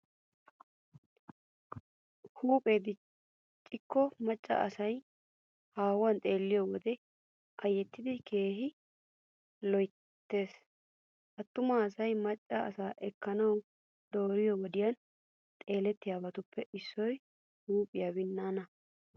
Huuphee diccikko macca asaa haahuwan xeelliyo wode ayyettidi keehi loyttees. Attuma asay maccaa asaa ekkanawu dooriyo wodiyan xeelliyobatuppe issoy huuphiyaa binnaanaa.